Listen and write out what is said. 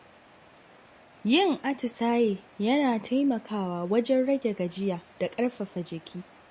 Yin atisaye yana taimakawa wajen rage gajiya da ƙarfafa jiki.